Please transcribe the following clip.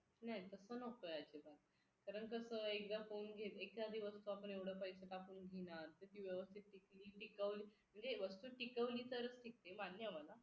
नाही तसं नकोय अजिबात कारण कसं एकदा फोन घेतला एक तर दिवसभर येवढे पैसे टाकून किती व्यवस्थित टिकवली म्हणजे वस्तू टिकवली तरच टिकते मान्य मला